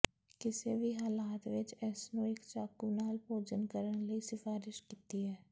ਕਿਸੇ ਵੀ ਹਾਲਤ ਵਿੱਚ ਇਸ ਨੂੰ ਇੱਕ ਚਾਕੂ ਨਾਲ ਭੋਜਨ ਕਰਨ ਲਈ ਸਿਫਾਰਸ਼ ਕੀਤੀ ਹੈ